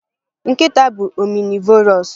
Nkịta bụ omnivores